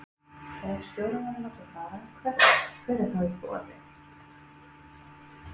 Ef stjórinn verður látinn fara, hver er þá í boði?